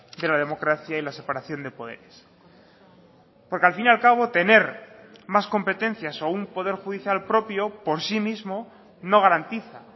de la democracia y la separación de poderes porque al fin y al cabo tener más competencias o un poder judicial propio por sí mismo no garantiza